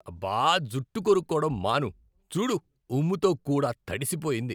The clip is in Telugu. అబ్బా! జుట్టు కొరుక్కోవటం మాను. చూడు, ఉమ్ముతో కూడా తడిసిపోయింది.